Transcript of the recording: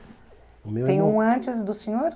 o meu irmão... Tem um antes do senhor?